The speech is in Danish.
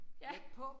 Ja